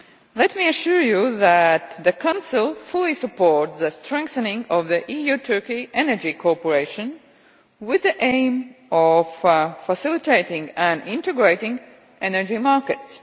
Let me assure you that the Council fully supports the strengthening of EU Turkey energy cooperation with the aim of facilitating and integrating energy markets.